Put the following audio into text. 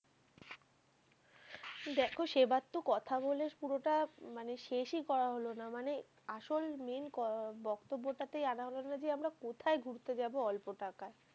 দেখো, সেই বার তো কথা বলে, পুরোটা মানে শেষ এ করা হলো না, মানে আসল main বক্তব্যটা তে আনা হলো না যে আমরা কোথায় ঘুরতে যাবো অল্প টাকায়।